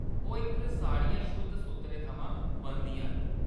ओह्‌‌, एह्‌‌ साड़ियां शुद्ध सूत्तरै थमां बनदियां न।